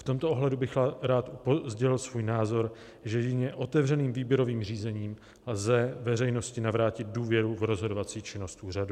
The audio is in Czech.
V tomto ohledu bych rád sdělil svůj názor, že jedině otevřeným výběrovým řízením lze veřejnosti navrátit důvěru v rozhodovací činnost úřadu.